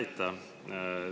Aitäh!